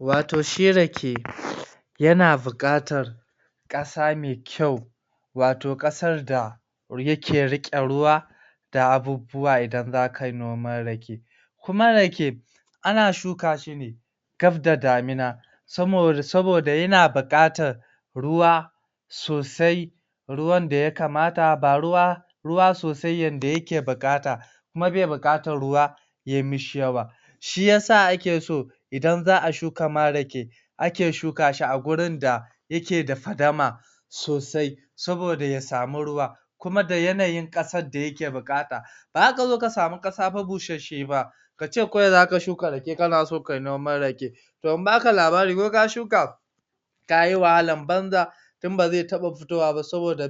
Wato shi rake yana bukatar ƙasa mai kyau wato ƙasa da yake riƙe ruwa da abubuwa idan zakayi noman rake, kuma rake ana shuka shi ne gaf da damuna saboda yana buƙatar ruwa sosai ruwanda ya kamata ba ruwa ba sosai yanda yake bu'kata kuma be bu'kata ruwa yayi mashi yawa shiyasa akeso idan za'a shuka rake ake shukashi a gurinda yakeda fadama sosai. saboda yasamu ruwa kuma da yanayin ƙasarda yake buƙata. Bazakazo ka samu kasa ba busheshshe ba kace kawai zaka shuka rake kanaso kayi noman rake toh in baka labari koka shuka kayi wahalan banza don baze taba futowa ba saboda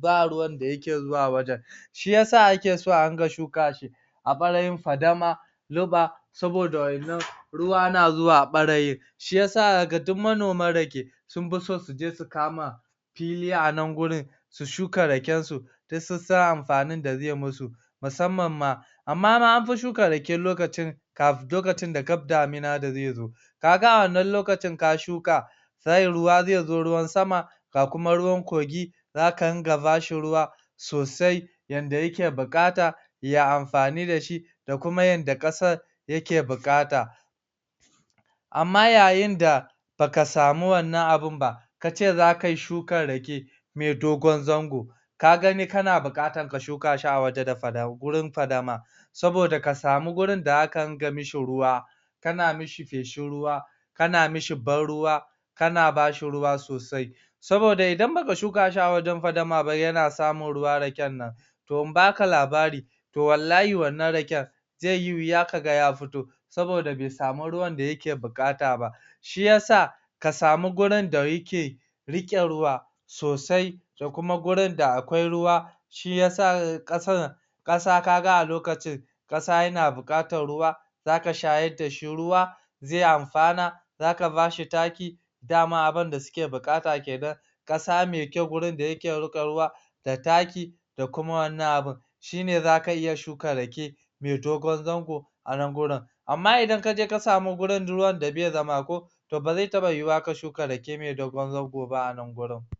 ba ruwanda yake zuwa wajen shiyasa ake so a dinga shuka shi a ɓarayin fadama saboda wannan ruwa yana zuwa barayin shiyasa zakaga duk manoman rake sunfison suje su kama fili a nan wajen su shuka rakensu su sun san amfanin da zeyi musu musamman ma amma anmafi shuka rake lokacin da gaf damina da ze zo kaga a wannan lokacin ka shuka sannan ruwa zezo ruwan sama ga kuma ruwan kogi zaka rinka bashi ruwa sosai yanda yake bu'kata ya amfanu dashi da kuma yanda ƙasan ya ke buƙata. Amma yayinda baka samu wannan abunba kace zaka yi shukan rake me dogon zango kagani kana bukatan ka shuka shi a wajen fadama saboda kasamu wajenda zaka dinga mashi ruwa kana mishi feshin ruwa kana mishi ban ruwa kana bashi ruwa sosai saboda idan baka shuka shi a wajen fadama ba yana samun ruwa rakennan toh in baka labari toh wallahi wannan raken zeyi wuya kaga ya futo saboda besamu ruwanda yake bukata ba shiyasa kasamu gurinda yake rike ruwa sosai da kuma gurinda akwai ruwa shiyasa 'kasan 'kasa kaga a lokacin kasa yana bukatar ruwa zaka shayar dashi ruwa ze amfana zaka bashi taki dama abunda suke buƙata kenan, ƙasa mai kyau da wurinda yake riƙon ruwa da taki dakuma wani abun shine zaka iya shuka rake mai dogon zango anan gurin amma idan kaje kasamu gurin ruwanda be zama ko toh baze taba yiwuwa ka shuka rake mai dogon zango ba anan gurin.